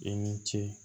I ni ce